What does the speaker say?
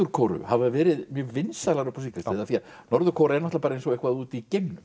Kóreu hafa verið mjög vinsælar upp á síðkastið norður Kórea er bara eins og eitthvað úti í geimnum